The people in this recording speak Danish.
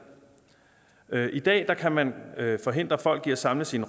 i dag kan man forhindre folk i at samles i en